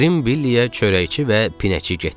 Qrim Billiyə çörəkçi və pinəçi getdi.